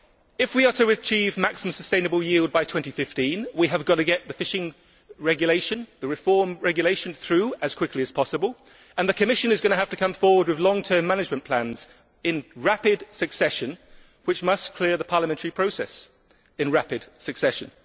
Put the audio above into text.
If we are to achieve maximum sustainable yield by 2015, we have got to get the reformed fishing regulation through as quickly as possible, and the Commission is going to have to come forward with long term management plans in rapid succession, which must clear the parliamentary process in rapid succession.